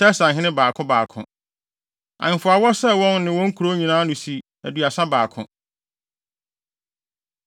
Tirsahene 2 baako 1 2 Ahemfo a wɔsɛe wɔn ne wɔn nkurow nyinaa ano si aduasa baako.